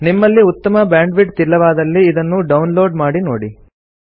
ನಿಮ್ಮಲ್ಲಿ ಉತ್ತಮ ಬ್ಯಾಂಡ್ವಿಡ್ತ್ ಇಲ್ಲವಾದಲ್ಲಿ ಇದನ್ನು ಡೌನ್ ಲೋಡ್ ಮಾಡಿ ನೋಡಿ